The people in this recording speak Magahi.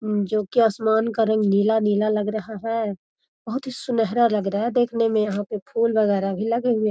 जो की आसमान का रंग नीला-नीला लग रहा है। बहुत ही सुनहरा लग रहा है देखने में यहाँ पे फूल वगैरा भी लगे हुए --